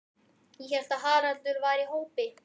Ég hélt að Haraldur væri í hópi